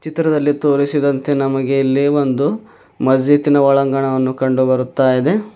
ಚಿತ್ರದಲ್ಲಿ ತೋರಿಸಿದಂತೆ ನಮಗೆ ಇಲ್ಲಿ ಒಂದು ಮಸ್ಜಿದ್ ನ ಒಳಾಂಗಣವನ್ನು ಕಂಡುಬರುತ್ತಾಯಿದೆ.